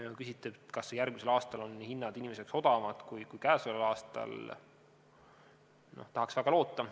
Kui te küsite, kas järgmisel aastal on hinnad inimesele odavamad kui käesoleval aastal, siis tahaks väga loota.